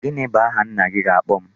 Gini bu aha nna gị ga-akpo m?